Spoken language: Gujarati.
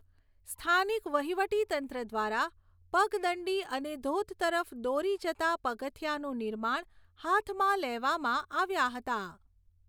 સ્થાનિક વહીવટીતંત્ર દ્વારા પગદંડી અને ધોધ તરફ દોરી જતાં પગથિયાંનું નિર્માણ હાથમાં લેવામાં આવ્યાં હતાં.